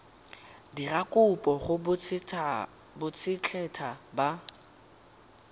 dira kopo go botseta ba